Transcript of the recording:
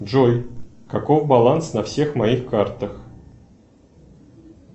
джой каков баланс на всех моих картах